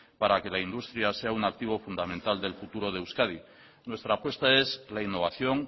para que la industria sea un activo fundamental del futuro de euskadi nuestra apuesta es la innovación